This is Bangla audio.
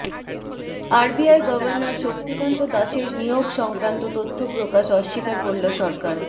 আরবিআই গভর্নর শক্তিকান্ত দাসের নিয়োগ সংক্রান্ত তথ্য প্রকাশ অস্বীকার করল সরকার